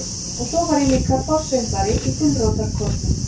Og svo var ég líka forsöngvari í gulrótarkórnum.